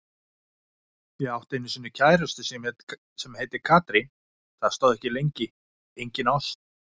Ég átti einu sinni kærustu sem heitir Katrín, það stóð ekki lengi, engin ást.